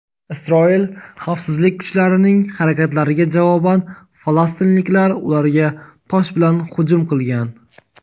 Isroil xavfsizlik kuchlarining harakatlariga javoban falastinliklar ularga tosh bilan hujum qilgan.